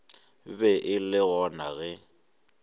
be e le gona ge